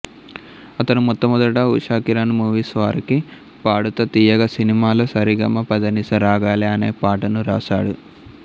అతను మొట్టమొదట ఉషాకిరణ్ మూవీస్ వారికి పాడుతా తీయగా సినిమాలో సరిగమ పదనిస రాగాలే అనే పాటను రాసాడు